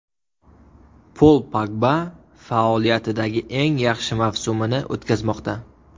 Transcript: Pol Pogba faoliyatidagi eng yaxshi mavsumini o‘tkazmoqda.